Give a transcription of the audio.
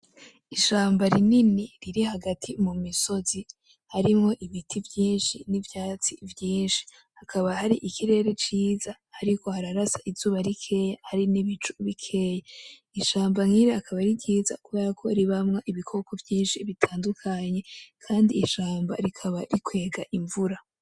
Ishamba rinini riri hagati mumisozi harimwo ibiti vyinshi nivyatsi vyinshi. Hakaba hari ikirere ciza, hariko hararasa izuba rikeye, hari nibicu bikeye. Ishamba nyene akaba ari ryiza kubera ko ribamwo ibikoko vyinshi bitandukanye. Kandi ishamba rikaba rikwega imvura.